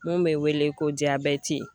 Mun bɛ wele ko diyabɛti.